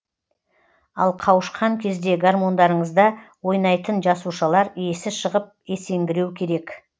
ал қауышқан кезде гармондарыңызда ойнайтын жасушалар есі шығып есеңгіреу керек